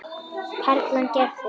Perlan gerði.